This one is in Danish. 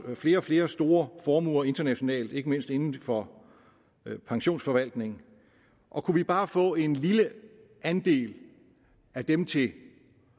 flere og flere store formuer internationalt ikke mindst inden for pensionsforvaltning og kunne vi bare få en lille andel af dem til